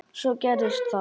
Svo gerðist það.